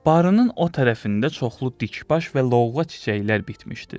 Barının o tərəfində çoxlu dikbaş və lovğa çiçəklər bitmişdi.